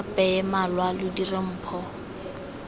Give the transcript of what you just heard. apeye malwa lo dire mpho